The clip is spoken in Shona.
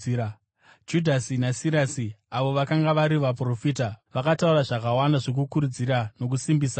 Judhasi naSirasi avo vakanga vari vaprofita, vakataura zvakawanda zvokukurudzira nokusimbisa hama.